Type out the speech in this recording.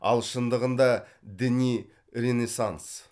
ал шындығында діни ренессанс